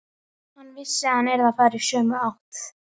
Hann vissi að hann yrði að fara í sömu átt.